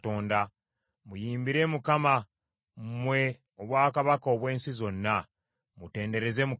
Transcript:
Muyimbire Katonda mmwe obwakabaka obw’ensi zonna. Mutendereze Mukama.